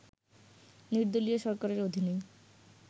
নির্দলীয় সরকারের অধীনেই